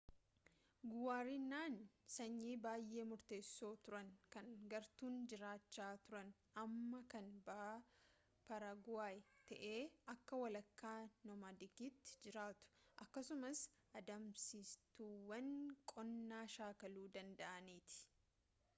guwaraniin sanyii baayee murteesso turani kan gartuun jiraacha turan amma kan bahaa paraguway ta'ee akka walakka-nomadikiti jiraatu akkasumaas adamsituuwwan qonnaa shaakaluu danda'aniiti